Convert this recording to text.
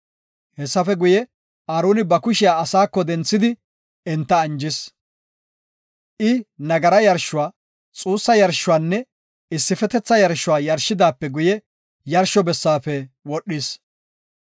Hessafe guye, Aaroni ba kushiya asaako denthidi enta anjis. I nagara yarshuwa, xuussa yarshuwanne issifetetha yarshuwa yarshidaape guye yarsho bessaafe wodhis.